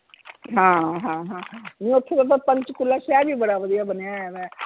ਹਾਂ ਹਾਂ ਹਾਂ ਨਹੀਂ ਓਥੇ ਮਤਲਬ ਪੰਚਕੂਲਾ ਸ਼ਹਿਰ ਵੀ ਬੜਾ ਵਧੀਆ ਬਣਿਆ ਹੋਇਆ ਵਾ